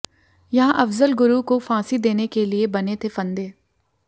यहां अफजल गुरू को फांसी देने के लिए बने थे फंदे